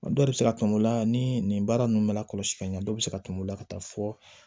Dɔw bɛ se ka tunu u la ni nin baara ninnu bɛ la kɔlɔsi ka ɲɛ dɔ bɛ se ka tunu u la ka taa fɔ